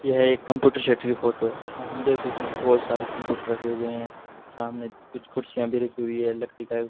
यह एक computer set की फोटो है जहां हम देख सकते हैं बहोत सारे कंप्यूटर रखे हुए हैं सामने कुछ कुर्सियां भी रखी हुई हैं लकड़ी का --